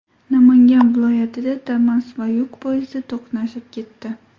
Namangan viloyatida Damas va yuk poyezdi to‘qnashib ketdi.